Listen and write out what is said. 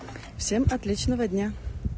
всем отличного дня